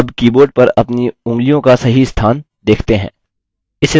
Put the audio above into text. अबअब keyboard पर अपनी उँगलियों का सही स्थान देखते हैं